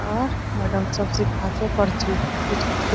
और मेडम सब सीखा छै पर्ची कुछ